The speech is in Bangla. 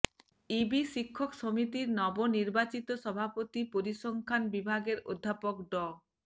ইবি শিক্ষক সমিতির নবনির্বাচিত সভাপতি পরিসংখ্যান বিভাগের অধ্যাপক ড